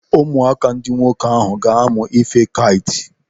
Ụmụaka ndị nwoke ahụ ga-amụ ife kait.